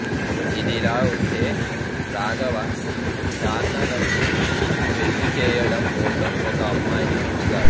ఇదిలా ఉంటే రాఘవ డానన్నకు పెళ్లి చేయడం కోసం ఒక అమ్మాయిని చూస్తాడు